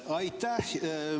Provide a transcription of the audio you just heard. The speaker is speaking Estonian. Aitäh!